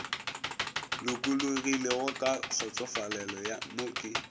lokologilego ka kgotsofalelo mo ke